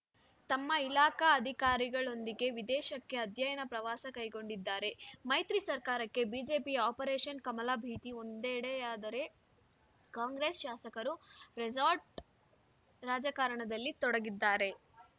ತಮ್ಮ ಇಲಾಖಾ ಅಧಿಕಾರಿಗಳೊಂದಿಗೆ ವಿದೇಶಕ್ಕೆ ಅಧ್ಯಯನ ಪ್ರವಾಸ ಕೈಗೊಂಡಿದ್ದಾರೆ ಮೈತ್ರಿ ಸರ್ಕಾರಕ್ಕೆ ಬಿಜೆಪಿಯ ಆಪರೇಷನ್‌ ಕಮಲ ಭೀತಿ ಒಂದೆಡೆಯಾದರೆ ಕಾಂಗ್ರೆಸ್‌ ಶಾಸಕರು ರೆಸಾರ್ಟ್‌ ರಾಜಕಾರಣದಲ್ಲಿ ತೊಡಗಿದ್ದಾರೆ